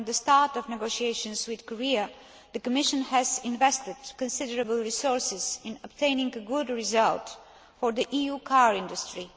From the start of negotiations with Korea, the Commission has invested considerable resources in obtaining a good result for the EU car industry.